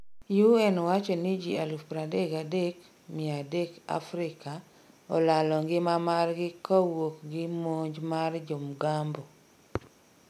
UN wacho ni jii 33,300 Afrika olalo ngima margi kawuok gi monj mar jo mgambo.